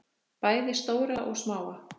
Bæði stóra og smáa.